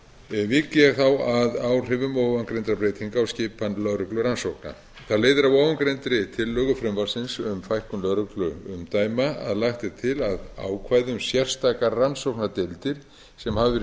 vík ég þá að áhrifum ofangreindra breytinga á skipan lögreglurannsókna það leiðir af ofangreindri tillögu frumvarpsins um fækkunlögregluumdæma að lagt er til að ákvæði um sérstaka rannsóknardeildir sem hafa verið